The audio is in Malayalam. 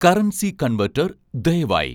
കറൻസി കൺവെട്ടർ ദയവായി